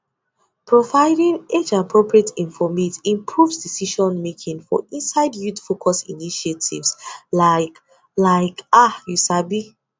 providing ageappropriate informate improves decision making for inside youth focused initiatives like ah you sabi